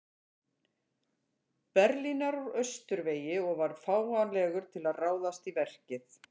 Berlínar úr austurvegi og var fáanlegur til að ráðast í verkið.